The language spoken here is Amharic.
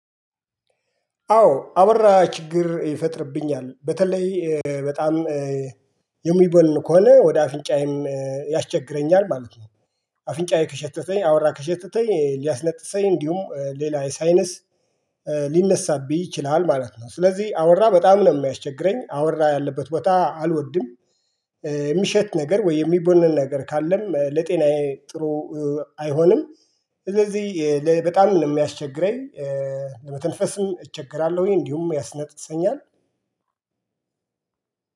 አዎ አበራ ችግር ይፈጥርብኛል በተለይ በጣም የሚቦልን ከሆነ ወደ አፍንጫዬም ያስቸግረኛል ማለት ነው። አፍንጫዬ ከሸተተኝ አወራ ከሸተተኝ ሊያስነጥሰኝ እንዲሁም ሌላ ሳይነስ ሊነሳብኝ ይችላል ማለት ነው። ስለዚህ አወራ በጣም ነው የሚያስቸግረኝ አወራ ያለበት ቦታ አልወድም። የሚሸት ነገር ወይ የሚቦነን ነገር ካለም ለጤናዬ ጥሩ አይሆንም። ስለዚህ ለበጣም ነው የሚያስቸግረኝ። ለመተንፈስም እቸገራለሁኝ እንዲሁም ያስነጥሰኛል።